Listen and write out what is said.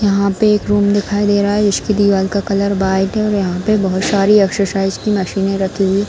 यहाँ पे एक रूम दिखाई दे रहा है जिसकी दीवाल का कलर वाइट है और यहाँ पे बोहत सारी एक्सरसाइज की मशीने रखी हुई --